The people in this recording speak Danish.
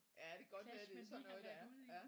Ja det kan godt være det er sådan noget det er ja